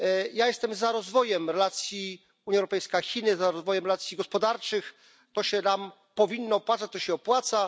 Ja jestem za rozwojem relacji Unia Europejska Chiny, za rozwojem racji gospodarczych, to się nam powinno opłacać, to się opłaca.